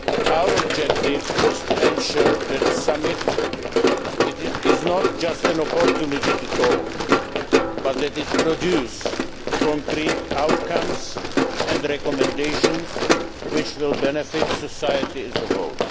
Our objective is to ensure that the Summit is not just an opportunity to talk, but that it produces concrete outcomes and recommendations which will benefit society as a whole.